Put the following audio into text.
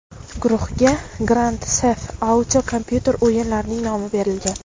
Guruhga Grand Theft Auto kompyuter o‘yinlarining nomi berilgan.